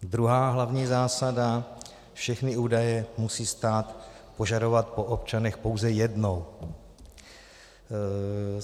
Druhá hlavní zásada: Všechny údaje musí stát požadovat po občanech pouze jednou.